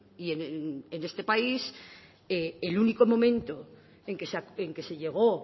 y en este país el único momento en que se llegó